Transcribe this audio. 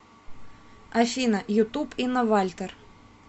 афина ютуб инна вальтер